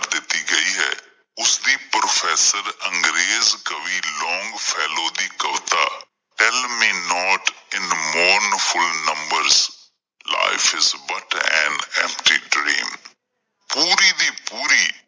professor ਅੰਗਰੇਜ ਕਵੀ ਦੀ ਕਵਿਤਾ ਪੂਰੀ ਦੀ ਪੂਰੀ